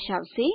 દર્શાવશે